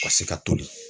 Ka se ka toli